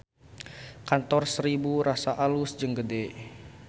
Kantor Seribu Rasa alus jeung gede